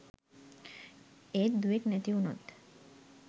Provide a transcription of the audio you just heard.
ඒත් දුවෙක් නැති උනොත්